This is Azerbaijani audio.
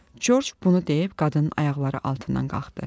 Corc bunu deyib qadının ayaqları altından qalxdı.